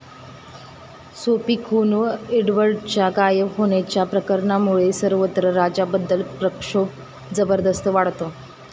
Sophie खून व एडवर्डच्या गायब होण्याच्या प्रकरणामुळे सर्वत्र राजाबद्दल प्रक्षोभ जबरदस्त वाढतो.